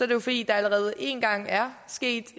det fordi der allerede en gang er sket